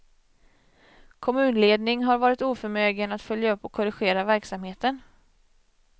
Kommunledning har varit oförmögen att följa upp och korrigera verksamheten.